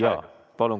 Jaa, palun!